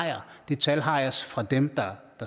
det tal har jeg fra dem der